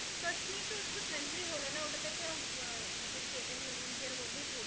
কাশ্মীর তো ওটা তো country হল না ওটা তো একটা আমাদের state এর মানে ইন্ডিয়ার মধ্যেই পড়ে